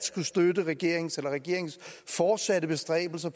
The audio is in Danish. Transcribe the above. skulle støtte regeringens regeringens fortsatte bestræbelser